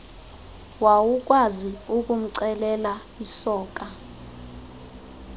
wawukwazi ukumcelela isoka